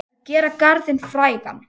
Að gera garðinn frægan